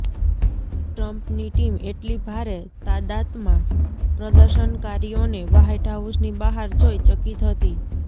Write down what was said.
ટ્રમ્પની ટીમ એટલી ભારે તાદાતમાં પ્રદર્શનકારીઓને વ્હાઈટહાઉસની બહાર જોઈ ચકિત હતી